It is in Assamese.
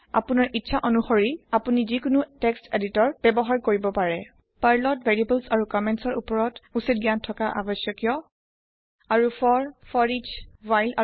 আপুনি জিকুনু টেক্সট এডিটৰ ব্যৱহাৰ কৰিব পাৰে আপুনাৰ ইচ্ছা আনুসৰি । আপুনাৰ উচ্ছিত জ্ঞান থকা আৱশ্যকিয় ভেৰিয়েবোল আৰু কম্মেন্ট উপৰত পাৰ্লৰ